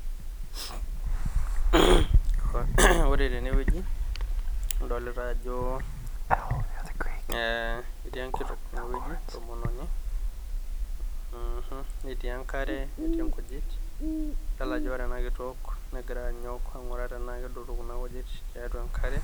[Clears his throat]Ore tene wueji nadolita ajoo etii enkitok enewuji tomononi. Netii enkare netii nkujit. Adol ajo ore nakitok negira anyok ainguraa tenaa kedotu nena kujit tiatua enkare